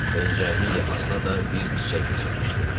Pencəyimin yaxasına da bir çiçək keçirmişdi.